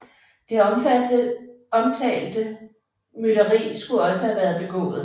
Det omtalte mytteri skulle også været begået